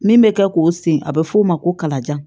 Min bɛ kɛ k'o sen a bɛ f'o ma ko kalajan